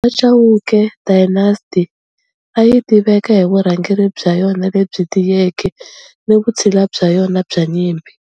Va Chauke Dynasty a yi tiveka hi vurhangeri bya yona lebyi tiyeke ni vutshila bya yona bya nyimpi.